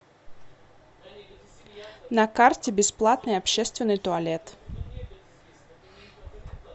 на карте бесплатный общественный туалет